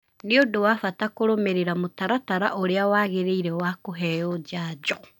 Nĩ ũndũ wa bata kũrũmĩrĩra mũtaratara ũrĩa wagĩrĩire wa kũheo njanjo.